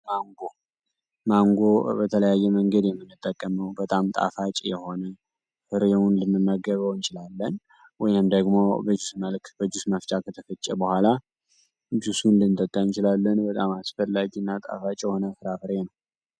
ማንጎ ማንጎ በተለያየ መንገድ የምንጠቀመው በጣም ጣፋጭ የሆነ ፍሬውን ልንመገበው እንችላለን ወይም ደግሞ በጁስ መፍጫ ከተፈጨ በኋላ ጁሱን ልንጠቀም እንችላለን። በጣም አስፈላጊ እና ጣፋጭ የሆነ ፍራፍሬ ነው።